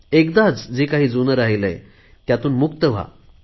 एकदाच जे काही जुने राहिलेय त्यातून मुक्त व्हा